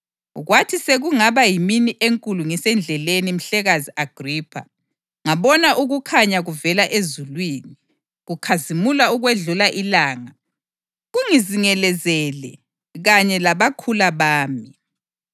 Kwathi sekungaba yimini enkulu ngisendleleni Mhlekazi Agripha, ngabona ukukhanya kuvela ezulwini, kukhazimula ukwedlula ilanga, kungizingelezele kanye labakhula bami.